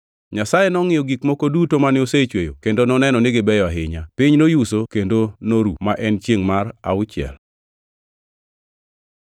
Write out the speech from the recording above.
Nyasaye nongʼiyo gik moko duto mane osechweyo kendo noneno ni gibeyo ahinya. Piny noyuso kendo noru, ma en chiengʼ mar auchiel.